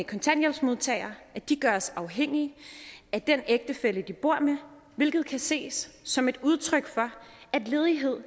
kontanthjælpsmodtagere afhængige af den ægtefælle de bor med hvilket kan ses som et udtryk for at ledighed